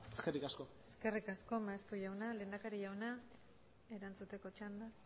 eskerrik asko eskerrik asko maeztu jauna lehendakari jauna erantzuteko txanda